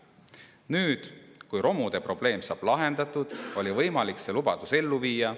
Nüüd, kui romude probleem saab lahendatud, oli võimalik see lubadus ellu viia.